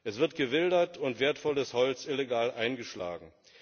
Es wird gewildert und wertvolles Holz illegal eingeschlagen.